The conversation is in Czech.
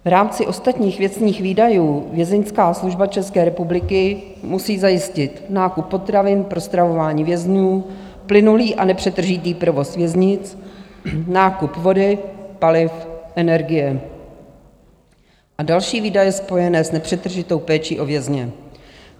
V rámci Ostatních věcných výdajů Vězeňská služba České republiky musí zajistit nákup potravin pro stravování vězňů, plynulý a nepřetržitý provoz věznic, nákup vody, paliv, energie a další výdaje spojené s nepřetržitou péčí o vězně.